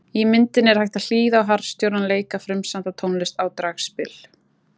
Í myndinni er hægt að hlýða á harðstjórann leika frumsamda tónlist á dragspil.